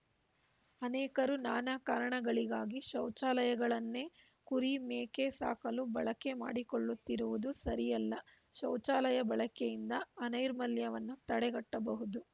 ಅನೇಕರು ನಾನಾ ಕಾರಣಗಳಿಗಾಗಿ ಶೌಚಾಲಯಗಳನ್ನೇ ಕುರಿ ಮೇಕೆ ಸಾಕಲು ಬಳಕೆ ಮಾಡಿಕೊಳ್ಳುತ್ತಿರುವುದು ಸರಿಯಲ್ಲ ಶೌಚಾಲಯ ಬಳಕೆಯಿಂದ ಅನೈರ್ಮಲ್ಯವನ್ನು ತಡೆಗಟ್ಟಬಹುದು